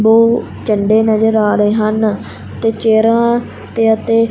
ਦੋ ਝੰਡੇ ਨਜ਼ਰ ਆ ਰਹੇ ਹਨ ਦੋ ਚੇਅਰਾਂ ਤੇ ਅਤੇ--